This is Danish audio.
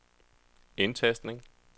indtastning